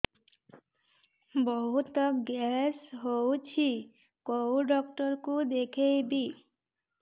ବହୁତ ଗ୍ୟାସ ହଉଛି କୋଉ ଡକ୍ଟର କୁ ଦେଖେଇବି